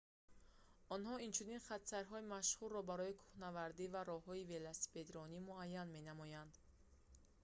онҳо инчунин хатсайрҳои машҳурро барои кӯҳнаварди ва роҳҳои велосипедрониро муайян менамоянд